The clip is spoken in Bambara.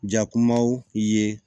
Jakumaw ye